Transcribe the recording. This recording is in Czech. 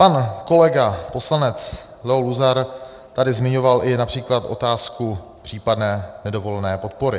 Pan kolega poslanec Leo Luzar tady zmiňoval i například otázku případné nedovolené podpory.